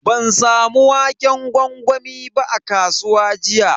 Ban samu waƙen gwangwami ba a kasuwa jiya.